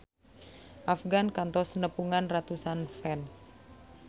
Afgan kantos nepungan ratusan fans